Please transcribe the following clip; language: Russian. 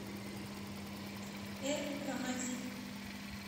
эр рамади